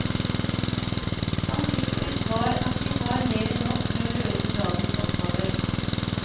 Han fikk til svar at de har mer enn nok med å løse dagens oppgaver.